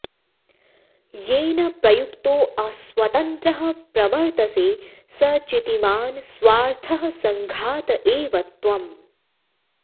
येन प्रयुक्तोऽस्वतन्त्रः प्रवर्तसे स चितिमान् स्वार्थः संघात एव त्वं